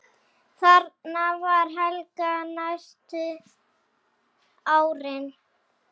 Þarna vann Helga næstu árin.